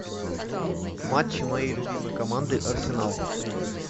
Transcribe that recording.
матчи моей любимой команды арсенал